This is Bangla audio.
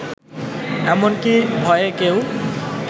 এমনকি ভয়ে কেউ